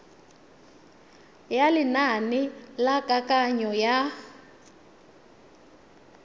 ya lenane la kananyo ya